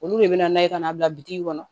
Olu de bɛ na n'a ye ka n'a bila bi kɔnɔ